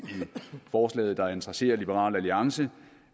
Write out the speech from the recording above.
forslaget der interesserer liberal alliance